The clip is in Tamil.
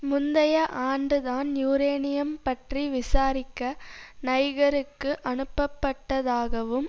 முந்தைய ஆண்டு தான் யூரேனியம் பற்றி விசாரிக்க நைகருக்கு அனுப்பப்பட்டதாகவும்